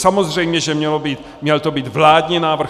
Samozřejmě že to měl být vládní návrh.